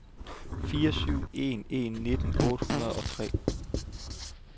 fire syv en en nitten otte hundrede og tre